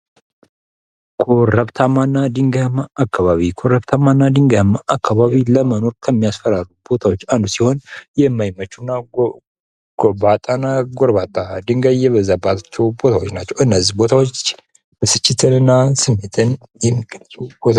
ኮረብታማና ድንጋማ አካባቢ ፦ ኮረብታማ እና ድንጋያማ አካባቢ ለመኖር ከሚያስፈራሩ አካባቢዎች አንዱ ሲሆን የማይመቹና ጉባጣ እና ጎርባጣ ፣ ድንጋይ የበዛባቸው ቦታዎች ናቸው ። እነዚህ ቦታዎች ብስጭትን እና ስሜትን የሚገልጹ